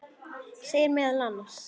segir meðal annars